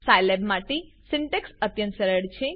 Scilab માટે syntax અત્યંત સરળ છે